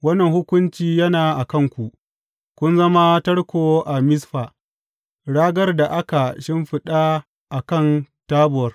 Wannan hukunci yana a kanku, kun zama tarko a Mizfa, ragar da aka shimfiɗa a kan Tabor.